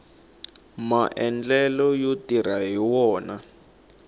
maendlelo yo tirha hi wona